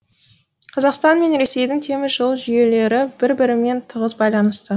қазақстан мен ресейдің темір жол жүйелері бір бірімен тығыз байланысты